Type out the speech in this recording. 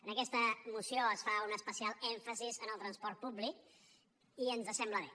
en aquesta moció es fa un especial èmfasi en el transport públic i ens sembla bé